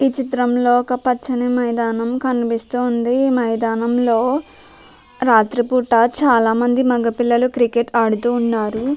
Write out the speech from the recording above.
ఈ చిత్రంలో ఒక్కపచ్చని మైదానం కనిపిస్తోంది మైదానంలో రాత్రిపూట చాలామంది మగపిల్లలు క్రికెట్ ఆడుతుఉన్నారు .